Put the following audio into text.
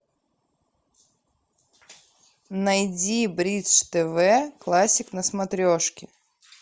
найди бридж тв классик на смотрешке